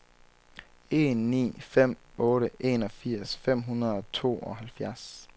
en ni fem otte enogfirs fem hundrede og tooghalvfjerds